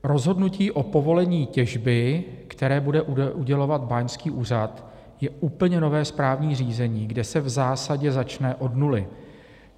Rozhodnutí o povolení těžby, které bude udělovat báňský úřad, je úplně nové správní řízení, kde se v zásadě začne od nuly.